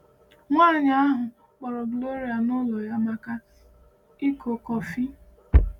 Nwanyi ahụ kpọrọ Gloria n’ụlọ ya maka iko kọfị.